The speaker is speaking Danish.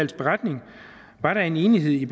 beretning var der enighed